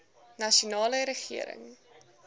nasionale regering